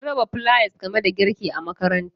Sun raba flayas game da girki a makarantata.